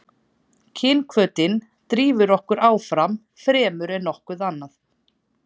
kynhvötin drífur okkur áfram fremur en nokkuð annað